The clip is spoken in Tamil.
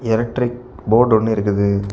எலக்ட்ரிக் போர்டு ஒன்னு இருக்குது.